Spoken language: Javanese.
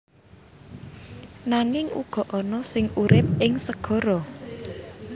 Nanging uga ana sing urip ing segara